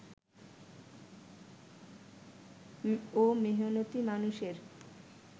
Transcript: ও মেহনতি মানুষের